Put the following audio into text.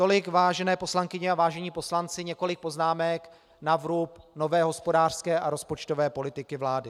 Tolik, vážené poslankyně a vážení poslanci, několik poznámek na vrub nové hospodářské a rozpočtové politiky vlády.